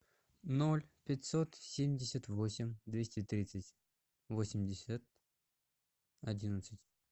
ноль пятьсот семьдесят восемь двести тридцать восемьдесят одиннадцать